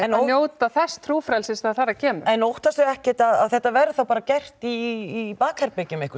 að njóta þess trúfrelsis þegar þar að kemur en ekkert að þetta verði þá bara gert í bakherbergjum